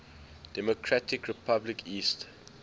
democratic republic east